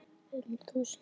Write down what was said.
Um þúsund segir